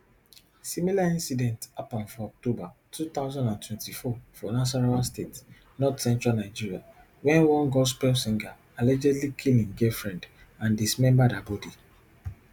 similar incident happun for october two thousand and twenty-four for nasarawa state northcentral nigeria wen one gospel singerallegedly kill im girlfriendand dismembered her bodi